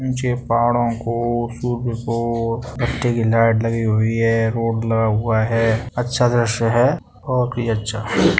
पाहड़ों को फूल को रास्ते कि लाइट लगी हुई है। बोर्ड लगा हुआ है अच्छा दृस्य है और भी अच्छा।